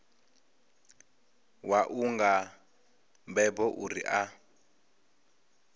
wau nga mbebo uri a